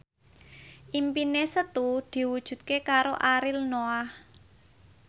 impine Setu diwujudke karo Ariel Noah